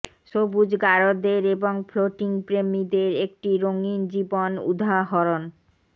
সবুজ গারদের এবং ফ্লোটিং প্রেমীদের একটি রঙিন জীবন উদাহরণ